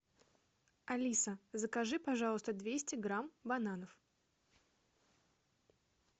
алиса закажи пожалуйста двести грамм бананов